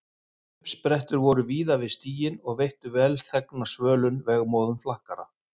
Uppsprettur voru víða við stíginn og veittu velþegna svölun vegmóðum flakkara.